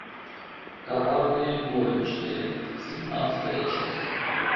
коварные горничные семнадцатая часть